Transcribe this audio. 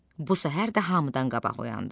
Bu səhər də hamıdan qabaq oyandı.